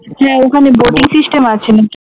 হ্যাঁ ওখানে boating system আছে নাকি?